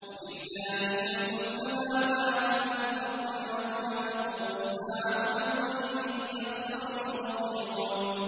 وَلِلَّهِ مُلْكُ السَّمَاوَاتِ وَالْأَرْضِ ۚ وَيَوْمَ تَقُومُ السَّاعَةُ يَوْمَئِذٍ يَخْسَرُ الْمُبْطِلُونَ